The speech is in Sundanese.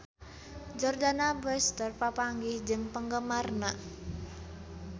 Jordana Brewster papanggih jeung penggemarna